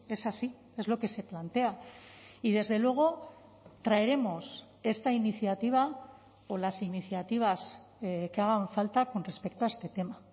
es así es lo que se plantea y desde luego traeremos esta iniciativa o las iniciativas que hagan falta con respecto a este tema